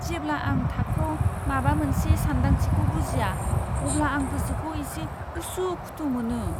जेब्ला आं थाखोआव माबा मोनसे सानदांथिखौ बुजिया, अब्ला आं गोसोखौ एसे उसु खुथु मोनो।